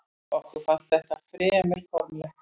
Okkur fannst þetta fremur formlegt.